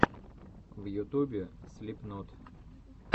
в ютубе слипнот